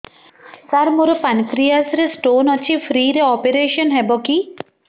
ସାର ମୋର ପାନକ୍ରିଆସ ରେ ସ୍ଟୋନ ଅଛି ଫ୍ରି ରେ ଅପେରସନ ହେବ କି